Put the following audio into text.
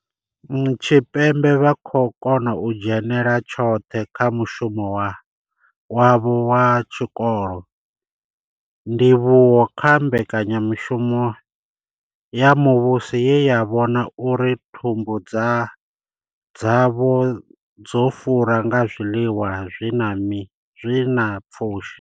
Tshipembe vha khou kona u dzhenela tshoṱhe kha mushumo wavho wa tshikolo ndivhuwo kha mbekanyamushumo ya muvhuso ye ya vhona uri thumbu dzavho dzo fura nga zwiḽiwa zwi na pfushi.